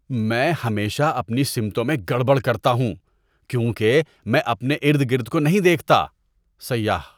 میں ہمیشہ اپنی سمتوں میں گڑبڑ کرتا ہوں کیونکہ میں اپنے ارد گرد کو نہیں دیکھتا۔ (سیاح)